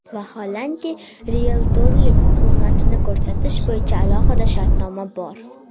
Vaholanki, rieltorlik xizmatini ko‘rsatish bo‘yicha alohida shartnoma bor.